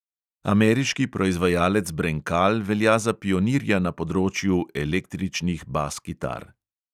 Ameriški proizvajalec brenkal velja za pionirja na področju električnih bas kitar.